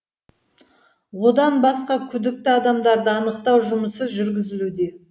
одан басқа күдікті адамдарды анықтау жұмысы жүргізілуде